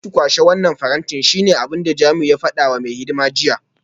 Zo ki kwashe wannan faranti shine abinda Jamiu ya fada wa mai hidima jiya